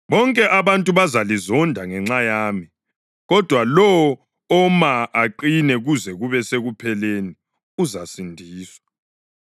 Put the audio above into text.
Bonke abantu bazalizonda ngenxa yami, kodwa lowo oma aqine kuze kube sekupheleni uzasindiswa.